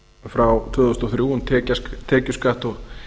frá tvö þúsund og þrjú um tekjuskatt og